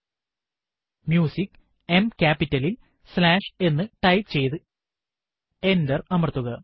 command prompt ൽ CD space Musicഎം ക്യാപിറ്റലിൽ സ്ലാഷ് എന്ന് ടൈപ്പ് ചെയ്തു എന്റർ അമർത്തുക